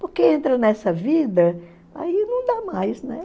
Porque entra nessa vida, aí não dá mais, né?